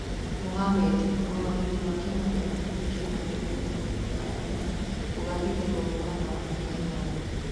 Mũhamedi: mũrũgamĩriri wa kĩama gĩa mũbira wa magũrũ gĩtaroinĩ gĩa Afrika kũgathĩkĩrwo mũkana wa mĩaka ĩtano.